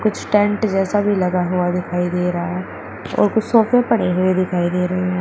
Tent जैसा भी लगा हुआ दिखाई दे रहा है और कुछ सोफे पड़े हुए दिखाई दे रहे हैं।